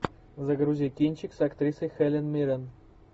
загрузи кинчик с актрисой хелен миррен